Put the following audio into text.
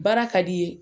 Baara ka d'i ye